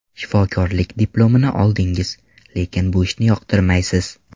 Shifokorlik diplomini oldingiz, lekin bu ishni yoqtirmaysiz.